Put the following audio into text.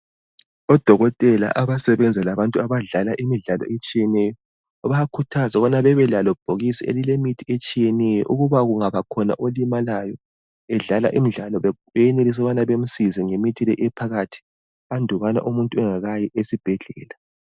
Odokotela abasebenza labantu abadlala imidlalo etshiyeneyo bayakhuthaza ukuba bebe lalelo bhokisi elilemithi etshiyeneyo ukuba kungaba khona olimalayo bedlala imidlalo beyenelise ukuba bemsize ngemithi le ephakathi andubana aye esibhedlela